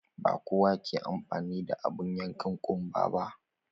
Ba kowa ke amfani da abun yankan ƙunba ba.